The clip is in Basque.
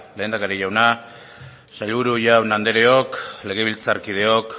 lehendakari jauna sailburu jaun andreok legebiltzarkideok